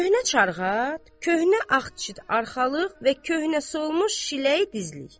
Köhnə çarxat, köhnə ağdıçit arxalıq və köhnə solmuş şiləy dizlik.